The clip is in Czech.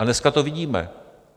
A dneska to vidíme.